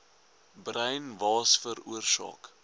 bruin waas veroorsaak